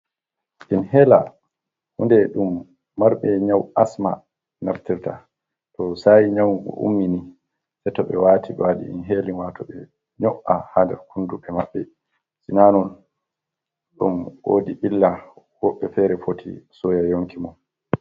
In hela. hunɗee ɗum marɓe nyau asma naftirta. To sayi nyaugo ummini. Se to ɓe wati waɗi in helin, wato ɓe nyo'a ha nɗer kunɗuɓe maɓɓe. Sina non ɗum woɗi illah. Woɓɓe fere foti soya yonki mum.